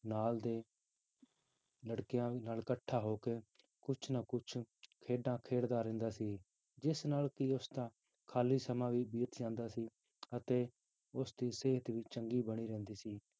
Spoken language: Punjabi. ਨਾਲ ਦੇ ਲੜਕਿਆਂ ਨਾਲ ਇਕੱਠਾ ਹੋ ਕੇ ਕੁਛ ਨਾ ਕੁਛ ਖੇਡਾਂ ਖੇਡਦਾ ਰਹਿੰਦਾ ਸੀ, ਜਿਸ ਨਾਲ ਕਿ ਉਸਦਾ ਖਾਲੀ ਸਮਾਂ ਵੀ ਬੀਤ ਜਾਂਦਾ ਸੀ ਅਤੇ ਉਸਦੀ ਸਿਹਤ ਵੀ ਚੰਗੀ ਬਣੀ ਰਹਿੰਦੀ ਸੀ